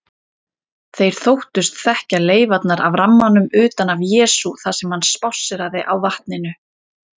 Þeir þóttust þekkja leifarnar af rammanum utan af Jesú þar sem hann spásséraði á vatninu.